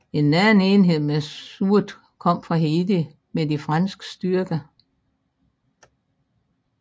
En anden enhed med sorte kom fra Haiti med de franske styrker